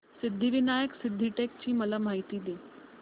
सिद्धिविनायक सिद्धटेक ची मला माहिती दे